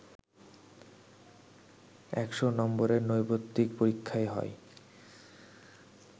১০০নম্বরের নৈর্ব্যক্তিক পরীক্ষায় হয়